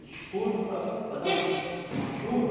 Escuro para para dar um uma chuva.